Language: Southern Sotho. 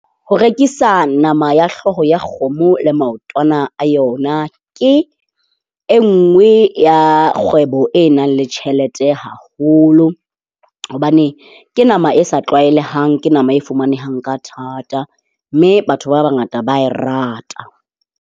Ho rekisa nama ya hlooho ya kgomo le maotwana a yona ke e nngwe ya kgwebo e nang le tjhelete haholo. Hobane ke nama e sa tlwaelehang. Ke nama e fumanehang ka thata mme batho ba bangata ba a e rata.